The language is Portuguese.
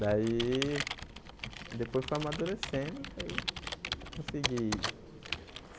Daí, depois foi amadurecendo, daí eu consegui.